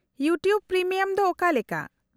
-YouTube premium ᱫᱚ ᱚᱠᱟᱞᱮᱠᱟ ?